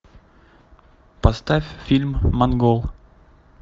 поставь фильм монгол